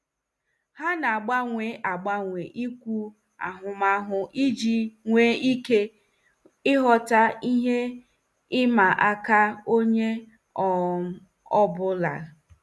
Ha na-agbanwe agbanwa ikwu ahụmahụ iji nwee ike ịghọta ihe ịma aka onye um ọ bụla.